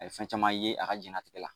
A ye fɛn caman ye a ka diɲɛlatigɛ la.